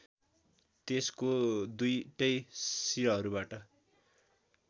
त्यसको दुईटै सिरहरूबाट